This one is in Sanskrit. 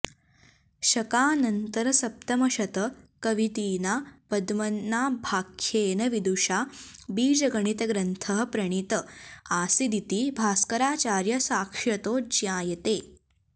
शकानन्तरसप्तमशतकवतिना पद्मनाभाख्येन विदुषा बीजगणितग्रन्थः प्रणीत आसीदिति भास्कराचार्य साक्ष्यतो ज्ञायते